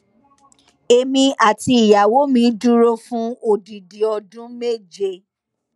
èmi àti ìyàwó mi dúró fún odidi ọdún méje